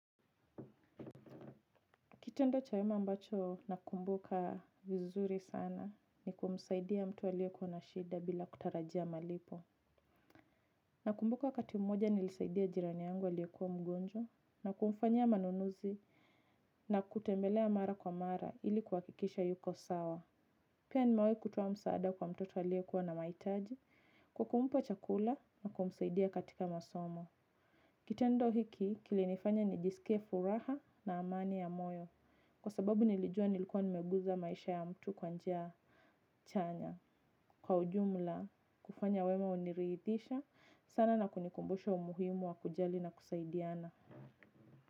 Kitendo cha wema mbacho nakumbuka vizuri sana ni kumsaidia mtu alie kwa na shida bila kutarajia malipo. Na kumbuka wakati mmoja nilisaidia jirani yangu alie kwa mgonjwa na kumfanya manunuzi na kutembelea mara kwa mara ili kuhakikisha yuko sawa. Pia nimewahi kutoa msaada kwa mtoto alie kuwa na maitaji kwa kumpa chakula na kumsaidia katika masomo. Kitendo hiki, kilinifanya nijisike furaha na amani ya moyo. Kwa sababu nilijua nilikuwa nimegusa maisha ya mtu kwa njia chanya. Kwa ujumla, kufanya wema uniridhisha, sana na kunikumbusha umuhimu wa kujali na kusaidiana.